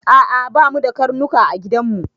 A'a ba mu da ƙarnuƙa a giɗan mu.